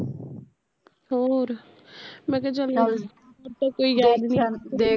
ਹੋਰ ਮੈਂ ਕਿਹਾ ਚੱਲ